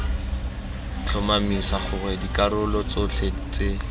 tlhomamisa gore dikarolo tsotlhe tse